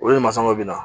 Olu ni masakɛ bɛna